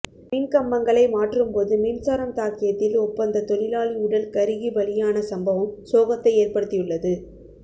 மின்கம்பங்களை மாற்றும்போது மின்சாரம் தாக்கியத்தில் ஒப்பந்த தொழிலாளி உடல் கருகி பலியான சம்பவம் சோகத்தை ஏற்படுத்தியுள்ளது